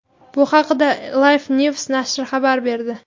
Bu haqda LifeNews nashri xabar berdi .